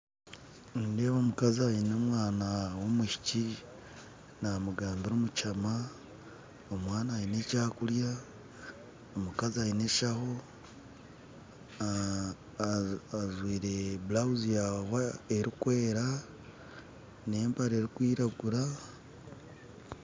Nindeeba omukazi aine omwaana w'omwishiki namugambira omukihama omwaana aine ekyakurya omukazi aine enshaho ajwaire blouse erukwera n'empare erukwiragura